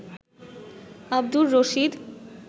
Abdur Rashid